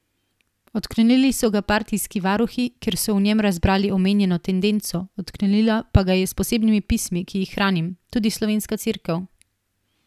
Odklonili so ga partijski varuhi, ker so v njem razbrali omenjeno tendenco, odklonila pa ga je s posebnimi pismi, ki jih hranim, tudi slovenska Cerkev.